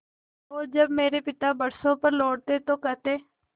और जब मेरे पिता बरसों पर लौटते तो कहते